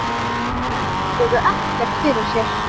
Menn víluðu ekkert fyrir sér.